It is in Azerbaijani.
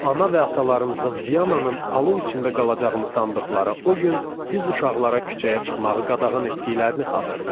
Ana və atalarımızın Viyananın alov içində qalacağını sandıqları o gün biz uşaqlara küçəyə çıxmağı qadağan etdiklərini xatırlayıram.